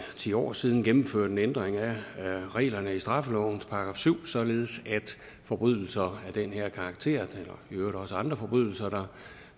ti år siden gennemførte en ændring af reglerne i straffelovens § syv således at forbrydelser af den her karakter i øvrigt også andre forbrydelser